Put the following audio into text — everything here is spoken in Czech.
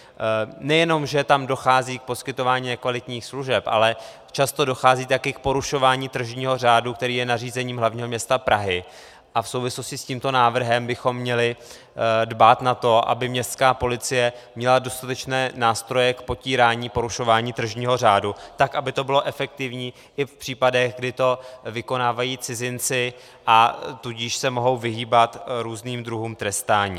Nejenom že tam dochází k poskytování nekvalitních služeb, ale často dochází také k porušování tržního řádu, který je nařízením hlavního města Prahy, a v souvislosti s tímto návrhem bychom měli dbát na to, aby městská policie měla dostatečné nástroje k potírání porušování tržního řádu, tak aby to bylo efektivní i v případech, kdy to vykonávají cizinci, a tudíž se mohou vyhýbat různým druhům trestání.